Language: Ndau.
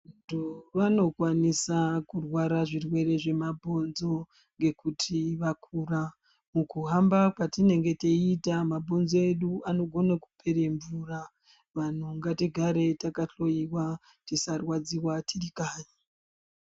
Vantu vanokwanisa kurwara zvirwere zvemabhonzo ngekuti vakura. Mukuhamba kwatinenge teiita mabhonzo edu anogone kupera mvura. Vanhu ngatigare takahloiwa tisarwadziwa tiri kanyi.